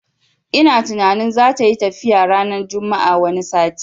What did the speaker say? Ina tunanin zatayi tafiya ranar juma'ar wani sati